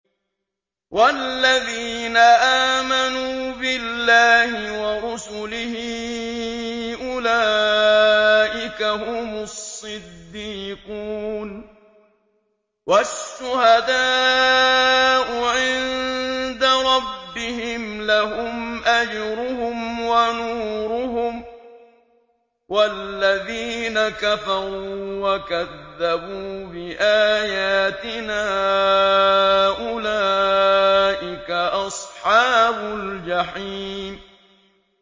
وَالَّذِينَ آمَنُوا بِاللَّهِ وَرُسُلِهِ أُولَٰئِكَ هُمُ الصِّدِّيقُونَ ۖ وَالشُّهَدَاءُ عِندَ رَبِّهِمْ لَهُمْ أَجْرُهُمْ وَنُورُهُمْ ۖ وَالَّذِينَ كَفَرُوا وَكَذَّبُوا بِآيَاتِنَا أُولَٰئِكَ أَصْحَابُ الْجَحِيمِ